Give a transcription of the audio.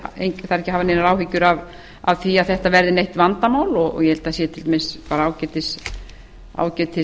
þarf ekki að hafa neinar áhyggjur af því að þetta verði neitt vandamál og ég held að það